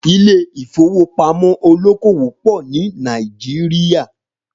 Ilé ìfowópamọ́ olókòwò pọ̀ ni Naijiria